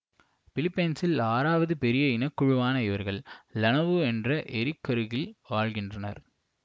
பிலிப்பைன்சில் ஆறாவது பெரிய இனக்குழுவான இவர்கள் லனவு என்ற ஏரிக்கருகில் வாழ்கிறார்கள்